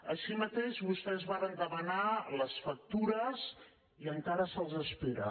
així mateix vostès varen demanar les factures i encara se’ls espera